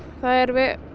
það er